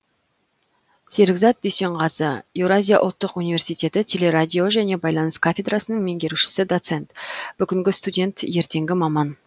серікзат дүйсенғазы еұу телерадио және байланыс кафедрасының меңгерушісі доцент бүгінгі студент ертеңгі маман